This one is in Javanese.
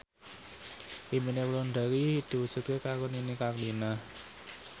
impine Wulandari diwujudke karo Nini Carlina